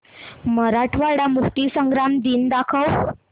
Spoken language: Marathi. मराठवाडा मुक्तीसंग्राम दिन दाखव